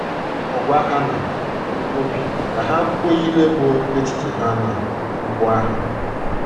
Ọ gwa ha n obi ka ha kwuo ihe bụ́ echiche ha n’okwu ahụ.